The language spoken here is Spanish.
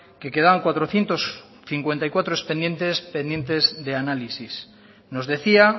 que quedaban cuatrocientos cincuenta y cuatro expedientes pendientes de análisis nos decía